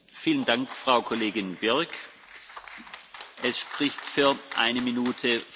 Monsieur le Président, il y a un an, Bruxelles était frappée par l'horreur.